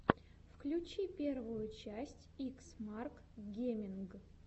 включи первую часть икс марк геминг